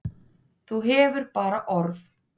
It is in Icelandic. Þú hefur bara orð.